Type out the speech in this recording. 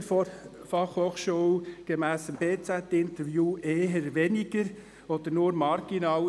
Der Rektor erkennt dies gemäss dem Interview mit der «Berner Zeitung (BZ)» eher weniger oder nur marginal.